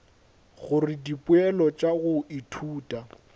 gore dipoelo tša go ithuta